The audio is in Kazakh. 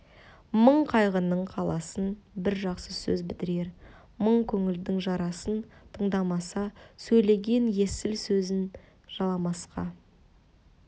мың қайғының қаласын бір жақсы сөз бітірер мың көңілдің жарасын тыңдамаса сөйлеген есіл сөзім жыламасқа